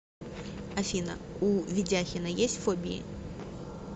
афина у ведяхина есть фобии